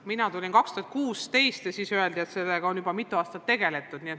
Mina astusin ametisse 2016. aastal ja siis öeldi, et sellega on juba mitu aastat tegeletud.